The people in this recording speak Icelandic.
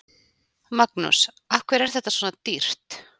Magnús: Af hverju er þetta svona dýrt?